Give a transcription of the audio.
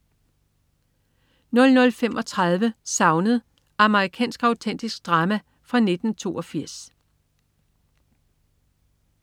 00.35 Savnet. Amerikansk autentisk drama fra 1982